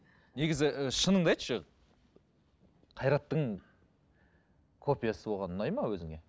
негізі і шыныңды айтшы қайраттың копиясы болған ұнайды ма өзіңе